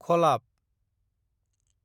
खलाब